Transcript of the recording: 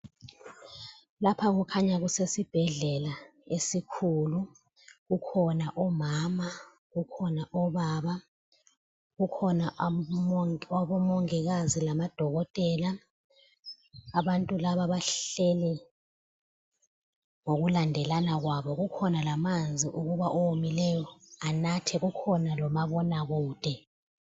Lapha kukhanya kusesibhedlela esikhulu. Kukhona omama, kukhona obaba kukhona abomongikazi lamadokotela. Abantu laba bahleli ngokulandelana kwabo. Kukhona lamanzi ukuba owomileyo anathe. Kukhona lomabonakude.